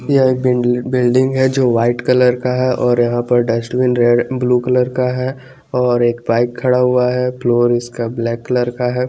यह एक बिल-बिल्डिंग है जो वाइट कलर का है और यहा पर डस्टबिन रे ब्लू कलर का है और एक बाइक खडा हुआ है फ्लोर इसका ब्लैक कलर का है।